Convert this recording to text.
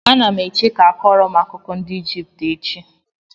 Anam eche ka a kọọrọ m akụkọ ndị Ijipt echi.